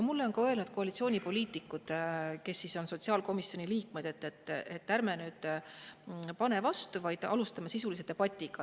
Mulle on öelnud ka koalitsioonipoliitikud, kes on sotsiaalkomisjoni liikmed, et ärme pane nüüd vastu, vaid alustame sisulist debatti.